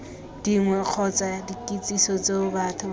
dingwe kgotsa dikitsiso tseo batho